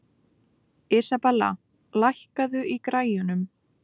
Isabella, lækkaðu í græjunum.